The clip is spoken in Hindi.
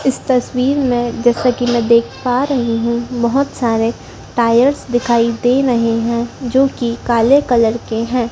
इस तस्वीर में जैसा कि मैं देख पा रही हूं बहोत सारे टायर्स दिखाई दे रहे हैं जो कि कले कलर के हैं।